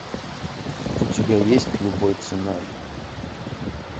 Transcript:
у тебя есть любой ценой